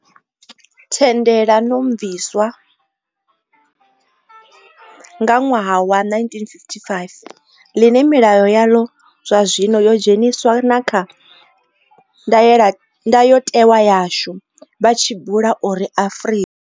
Thendelanomviswa nga ṅwaha wa 1955, ḽine milayo yaḽo zwazwino yo dzheniswa na kha ndayotewa yashu, vha tshi bula uri Afrika